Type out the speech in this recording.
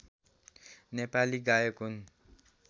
नेपाली गायक हुन्